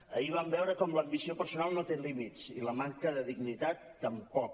ahir vam veure com l’ambició personal no té límits i la manca de dignitat tampoc